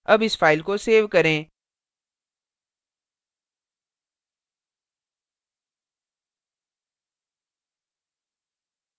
अब इस file को सेव करें